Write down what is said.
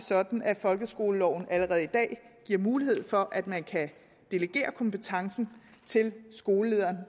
sådan at folkeskoleloven allerede i dag giver mulighed for at man kan delegere kompetencen til skolelederen